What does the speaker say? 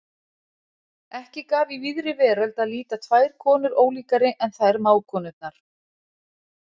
Ekki gaf í víðri veröld að líta tvær konur ólíkari en þær mágkonurnar.